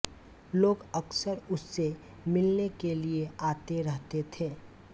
लोग अक्सर उससे मिलने के लिए आते रहते थे